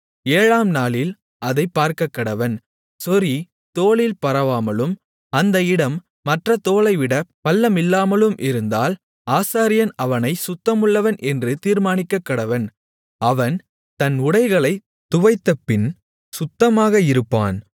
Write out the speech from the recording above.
ஏழாம்நாளில் அதைப் பார்க்கக்கடவன் சொறி தோலில் பரவாமலும் அந்த இடம் மற்றத் தோலைவிட பள்ளமில்லாமலும் இருந்தால் ஆசாரியன் அவனைச் சுத்தமுள்ளவன் என்று தீர்மானிக்கக்கடவன் அவன் தன் உடைகளைத் துவைத்தபின் சுத்தமாக இருப்பான்